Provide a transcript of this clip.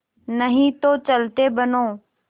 नहीं तो चलते बनो